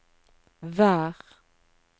vær